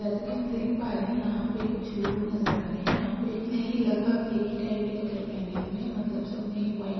जेयसा की हम देख पा रहे हे इहापे कुछ लोग नजर आ रहे हे इहापे एक नहीं लगभग एक ही टाइप के कापरे पहने हुए हे मतलब सबने ही व्हाइट --